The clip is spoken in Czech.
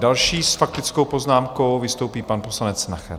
Další s faktickou poznámkou vystoupí pan poslanec Nacher.